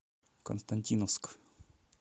константиновск